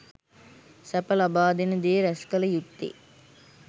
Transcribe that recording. සැප ලබාදෙන දේ රැස්කළ යුත්තේ